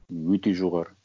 өте жоғары